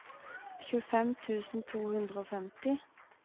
tjuefem tusen to hundre og femti